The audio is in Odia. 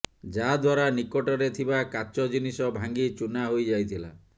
ଯାହାଦ୍ୱାରା ନିକଟରେ ଥିବା କାଚ ଜିନିଷ ଭାଙ୍ଗି ଚୂନା ହୋଇଯାଇଥିଲା